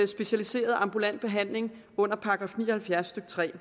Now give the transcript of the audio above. specialiseret ambulant behandling under § ni og halvfjerds stykke tredje